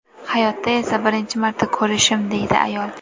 Hayotda esa birinchi marta ko‘rishim”, deydi ayol.